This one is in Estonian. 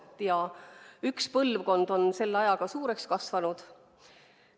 Selle ajaga on üks põlvkond suureks kasvanud.